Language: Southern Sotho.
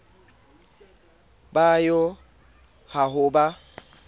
bo yo ha ho ba